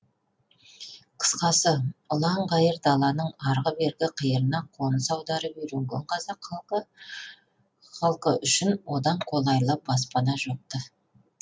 қысқасы ұлан ғайыр даланың арғы бергі қиырына қоныс аударып үйренген қазақ халқы үшін одан қолайлы баспана жоқ ты